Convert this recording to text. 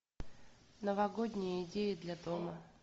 новогодние идеи для дома